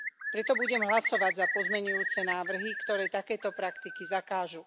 Preto budem hlasovať za pozmeňujúce návrhy, ktoré takéto praktiky zakážu.